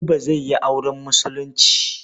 Buba zai yi auren Musulunci.